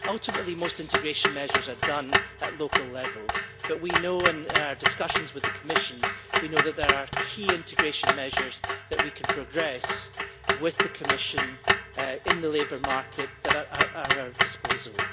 Ultimately, most integration measures are done at local level, but we know from our discussions with the Commission that there are key integration measures that we can advance with the Commission in the labour market that are at our disposal.